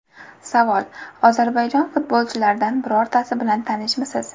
Savol: Ozarbayjon futbolchilaridan birortasi bilan tanishmisiz?